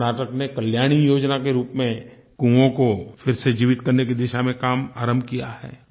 कर्नाटक में कल्याणी योजना के रूप में कुओं को फिर से जीवित करने की दिशा में काम आरम्भ किया है